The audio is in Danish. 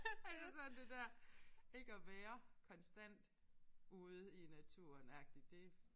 Altså sådan det der ikke at være konstant ude i naturen agtig det